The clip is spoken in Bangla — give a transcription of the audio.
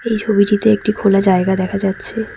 এই ছবিটিতে একটি খোলা জায়গা দেখা যাচ্ছে।